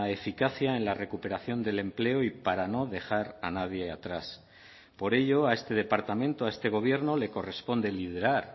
eficacia en la recuperación del empleo y para no dejar a nadie atrás por ello a este departamento a este gobierno le corresponde liderar